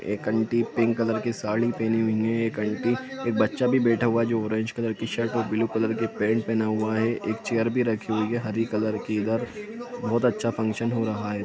एक aunty pink colour की साड़ी पहनी हुई हैं एक अन्टी एक बच्चा भी बैठा हुआ है जो ऑरेंज कलर की शर्ट और ब्लू कलर की पैंट पहना हुआ है एक चेयर भी रखी हुई है हरी कलर की इधर बहुत अच्छा फंक्शन हो रहा है --